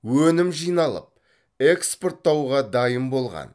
өнім жиналып экспорттауға дайын болған